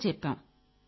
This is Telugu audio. నచ్చజెప్పాం